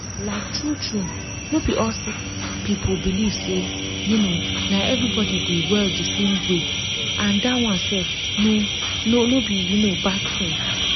like true true no be all sick people believe say um na everybody dey well di same way and dat one sef no no be um bad tin.